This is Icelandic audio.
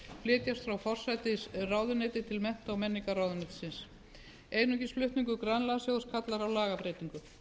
flytjast frá forsætisráðuneytinu til mennta og menningarmálaráðuneytisins einungis flutningur grænlandssjóðs kallar á lagabreytingu